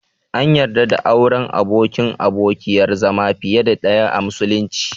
An yarda da auren abokin/abokiyar zama fiye da ɗaya a musulunci.